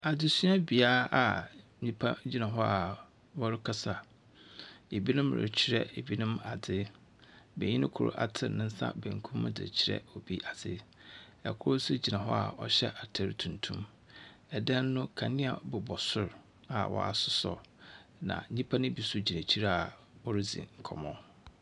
Adzesuabea a nyimpa gyina hɔ a wɔrekasa. Binom rekyerɛ binom adze. Benyin kor atsen ne nsa benkum dze rekyerɛ obi adze, na kor nso gyina hɔ a ɔhyɛ atar tuntum. Dan no, kandzea bobɔ sor a wɔasɔ, na nyimpa no so bigyina ekyir a woridzi nkɔmbɔ.